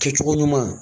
Kɛ cogo ɲuman